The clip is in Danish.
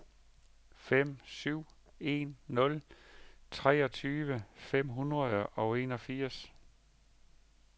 fem syv en nul treogtyve fem hundrede og enogfirs